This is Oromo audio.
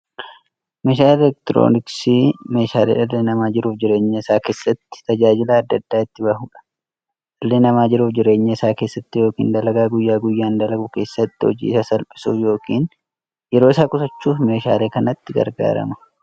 Meeshaaleen elektirooniksii meeshaalee dhalli namaa jiruuf jireenya isaa keessatti, tajaajila adda addaa itti bahuudha. Dhalli namaa jiruuf jireenya isaa keessatti yookiin dalagaa guyyaa guyyaan dalagu keessatti, hojii isaa salphissuuf yookiin yeroo isaa qusachuuf meeshaalee kanatti gargaarama.